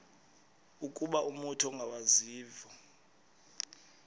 ukuba umut ongawazivo